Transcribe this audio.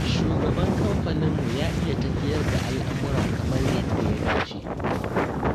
Shugaban kamfaninmu ya iya tafiyar da al'amura kamar yadda ya dace.